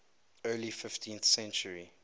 early fifteenth century